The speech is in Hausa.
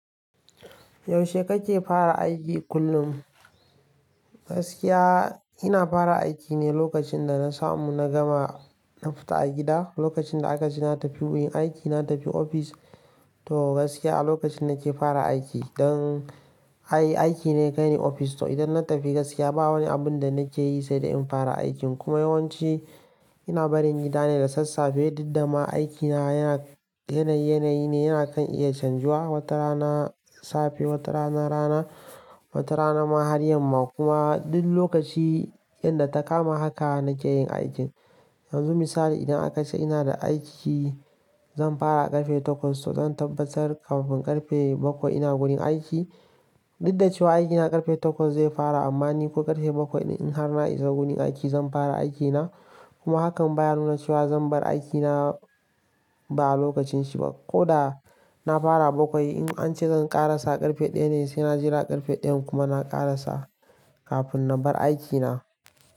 Yaushe kake fara aiki kullum? Gaskiya ina fara aiki ne lokacin da na samu na gama na fita a gida. Lokacin da aka ji na tafi wurin aiki, na tafi ofis to gaskiya a lokacin nake fara aiki. Don ai aiki ne kai ne ofis to idan na tafi gaskiya ba wani abun da nake yi sai da in fara aikin. Kuma yawanci ina barin gida ne da sassafe, duk da ma aikina yana yanayi ne, yana kan iya canjuwa, wata rana safe, wata rana rana, wata rana ma har yamma kuma duk lokaci yanda ta kama haka nake yin aikin. Yanzu misali idan aka ce ina da aiki zan fara a ƙarfe takwas to zan tabbatar kafin ƙarfe bakwai ina gurin aiki. Duk da cewa aikina ƙarfe takwas zai fara amma ni ko ƙarfe bakwai in har na iso gurin aiki zan fara aikina. Kuma hakan baya nuna cewa zan bar aikina ba a lokacin shi ba. Ko da na fara a bakwai in an ce zan ƙarasa ƙarfe ɗaya ne sai na jira ƙarfe ɗaya kuma na ƙarasa kafin na bar aikina.